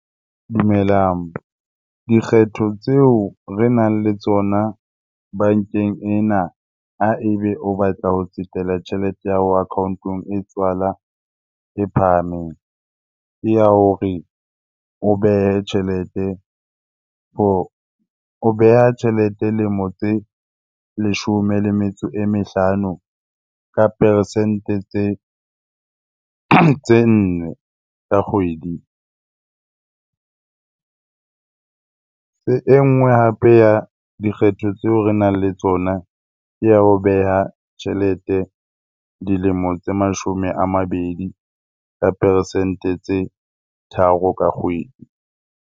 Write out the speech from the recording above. Dumelang. Dikgetho tseo re nang le tsona bankeng ena ha ebe o batla ho tsetela tjhelete ya hao account-ong e tswala e phahameng ya hore o behe tjhelete o beha tjhelete lemo tse leshome le metso e mehlano ka peresente tse nne ka kgwedi. E nngwe hape ya dikgetho tseo re nang le tsona ya ho beha tjhelete dilemo tse mashome a mabedi ka peresente tse tharo ka kgwedi.